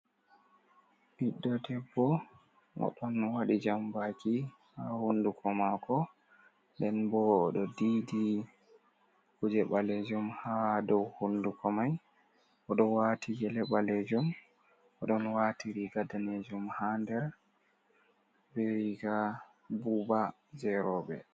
Ɓiɗɗo debbo o ɗon waɗi jambaki haa honnduko maako. Nden boo oɗo diidi kuuje ɓaleejum haa dow hunnduko may, o ɗo waati gele ɓaleejum, o ɗon waati riiga daneejum haa nder, bee riiga buuba hey rowɓe.